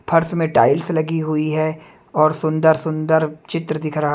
फर्श में टाइल्स लगी हुई है और सुंदर सुंदर चित्र दिख रहा--